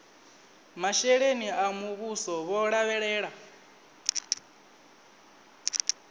masheleni a muvhuso vho lavhelela